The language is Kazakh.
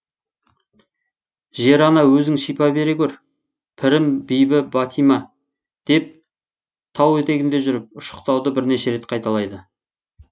жер ана өзің шипа бере гөр пірім бибі бәтима деп тау етегінде жүріп ұшықтауды бірнеше рет қайталайды